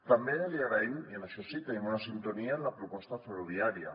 també li agraïm i en això sí que tenim una sintonia la proposta ferroviària